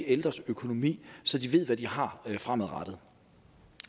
ældres økonomi så de ved hvad de har fremadrettet